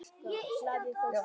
Blaðið óskar